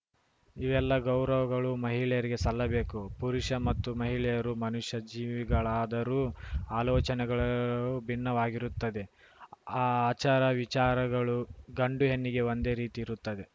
ಇವೆಲ್ಲ ಗೌರವಗಳು ಮಹಿಳೆಯರಿಗೆ ಸಲ್ಲಬೇಕು ಪುರುಷ ಮತ್ತು ಮಹಿಳೆಯರು ಮನುಷ್ಯ ಜೀವಿಗಳಾದರೂ ಆಲೋಚನೆಗಳು ಭಿನ್ನವಾಗಿರುತ್ತದೆ ಆಚಾರ ವಿಚಾರಗಳು ಗಂಡು ಹೆಣ್ಣಿಗೆ ಒಂದೇ ರೀತಿ ಇರುತ್ತದೆ